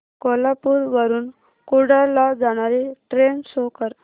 कोल्हापूर वरून कुडाळ ला जाणारी ट्रेन शो कर